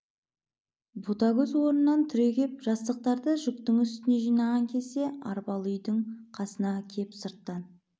ботагөз орнынан түрегеп жастықтарды жүктің үстіне жинаған кезде арбалы үйдің қасына кеп сырттан